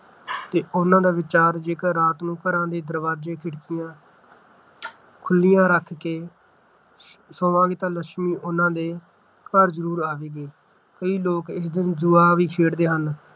ਤੇ ਉਹਨਾਂ ਦਾ ਵਿਚਾਰ ਜੇਕਰ ਰਾਤ ਨੂੰ ਘਰਾਂ ਦੇ ਦਰਵਾਜ਼ੇ ਖਿੜਕੀਆਂ ਖੁੱਲੀਆਂ ਰੱਖ ਕੇ ਸੋਵਾਂਗੇ ਤਾਂ ਲੱਛਮੀ ਉਹਨਾਂ ਦੇ ਘਰ ਜ਼ਰੂਰ ਆਵੇਗੀ । ਕਈ ਲੋਕ ਇਸ ਦਿਨ ਜੂਆ ਵੀ ਖੇਡਦੇ ਹਨ